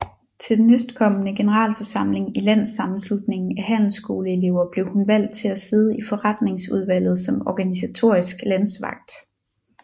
Til den næstkommende generalforsamling i Landssammenslutningen af Handelsskoleelever blev hun valgt til at sidde i forretningsudvalget som organisatorisk landsvalgt